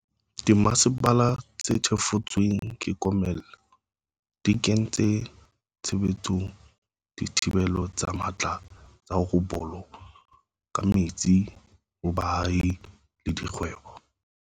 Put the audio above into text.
Dimasepala tse thefotsweng ke komello di kentse tshebetsong dithibelo tse matla tsa ho bolo ka metsi ho baahi le dikgwebo.